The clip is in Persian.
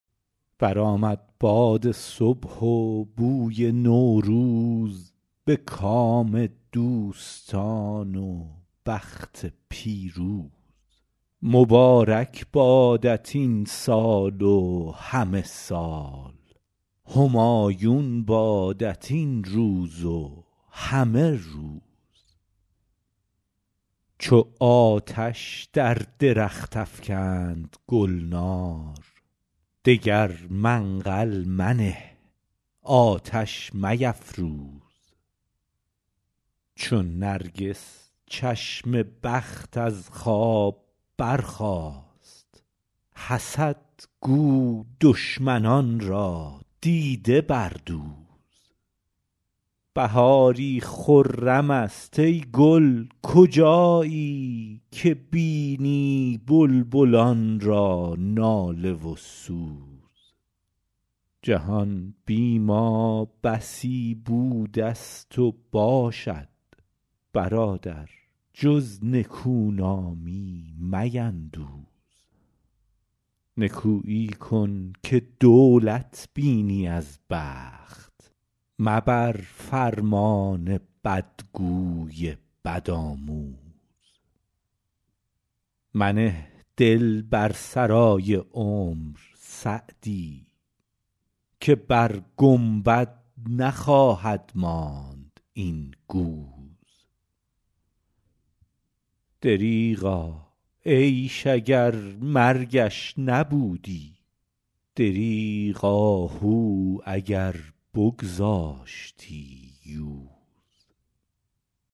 برآمد باد صبح و بوی نوروز به کام دوستان و بخت پیروز مبارک بادت این سال و همه سال همایون بادت این روز و همه روز چو آتش در درخت افکند گلنار دگر منقل منه آتش میفروز چو نرگس چشم بخت از خواب برخاست حسد گو دشمنان را دیده بردوز بهاری خرم است ای گل کجایی که بینی بلبلان را ناله و سوز جهان بی ما بسی بوده ست و باشد برادر جز نکونامی میندوز نکویی کن که دولت بینی از بخت مبر فرمان بدگوی بدآموز منه دل بر سرای عمر سعدی که بر گنبد نخواهد ماند این گوز دریغا عیش اگر مرگش نبودی دریغ آهو اگر بگذاشتی یوز